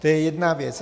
To je jedna věc.